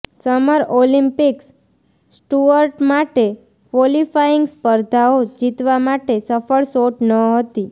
summer Olympics Stuart માટે qualifying સ્પર્ધાઓ જીતવા માટે સફળ શોટ ન હતી